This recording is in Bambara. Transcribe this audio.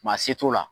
Maa se t'o la